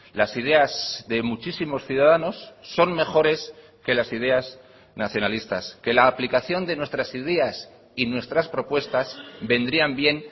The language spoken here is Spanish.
las ideas de muchísimos ciudadanos son mejores que las ideas nacionalistas que la aplicación de nuestras ideas y nuestras propuestas vendrían bien